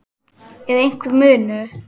Er einhver munur?